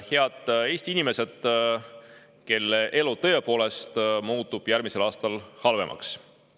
Head Eesti inimesed, kelle elu muutub järgmisel aastal tõepoolest halvemaks!